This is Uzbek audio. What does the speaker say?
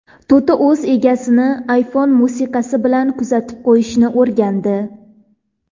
To‘ti o‘z egasini iPhone musiqasi bilan kuzatib qo‘yishni o‘rgandi .